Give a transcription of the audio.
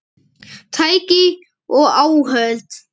Tæki og áhöld